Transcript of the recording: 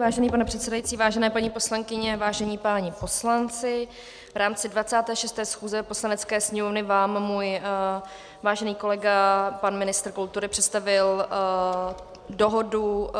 Vážený pane předsedající, vážené paní poslankyně, vážení páni poslanci, v rámci 26. schůze Poslanecké sněmovny vám můj vážený kolega pan ministr kultury představil Dohodu